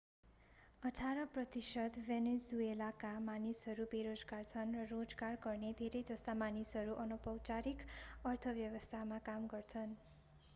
अठार प्रतिशत भेनेजुएलाका मानिसहरू बेरोजगार छन् र रोजगार गर्ने धेरै जस्ता मानिसहरू अनौपचारिक अर्थव्यवस्थामा काम गर्छन्